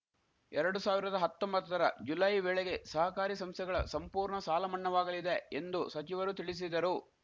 ಎರಡು ಸಾವಿರದ ಹತ್ತೊಂಬತ್ತರ ಜುಲೈ ವೇಳೆಗೆ ಸಹಕಾರಿ ಸಂಸ್ಥೆಗಳ ಸಂಪೂರ್ಣ ಸಾಲಮಣ್ಣಾವಾಗಲಿದೆ ಎಂದು ಸಚಿವರು ತಿಳಿಸಿದರು